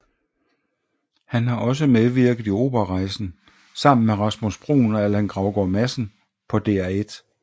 Han har også medvirket i Operarejsen sammen med Rasmus Bruun og Allan Gravgaard Madsen på DR1